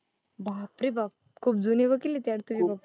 बाप रे बाप. खूप जूने वकील आहेत यार तुझे पप्पा.